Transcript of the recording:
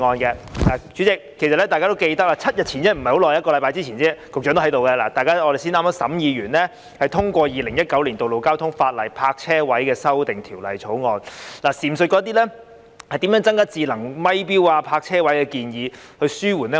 代理主席，大家都記得，一星期前，局長也在席，我們剛剛完成審議，通過《2019年道路交通法例條例草案》，當時亦有討論如何增加智能收費錶、泊車位等建議，以紓緩交通擠塞。